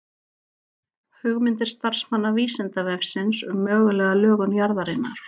Hugmyndir starfsmanna Vísindavefsins um mögulega lögun jarðarinnar.